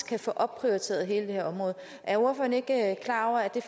kan få opprioriteret hele det her område er ordføreren ikke klar over at det